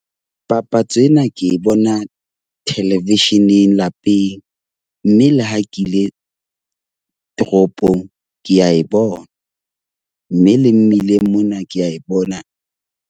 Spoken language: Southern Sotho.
Papatso ena ke e bona television-eng lapeng. Mme le ha ke ile toropong, ke a e bona. Mme le mmileng mona ke a e bona.